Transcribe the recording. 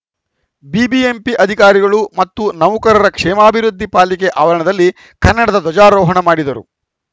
BBMP ಅಧಿಕಾರಿಗಳು ಮತ್ತು ನೌಕರರ ಕ್ಷೇಮಾಭಿವೃದ್ಧಿ ಪಾಲಿಕೆ ಆವರಣದಲ್ಲಿ ಕನ್ನಡದ ಧ್ವಜಾರೋಹಣ ಮಾಡಿದರು